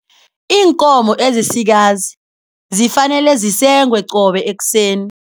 Iinkomo ezisikazi zifanele zisengwe qobe ekuseni.